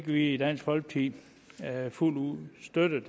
vi i dansk folkeparti fuldt ud støtte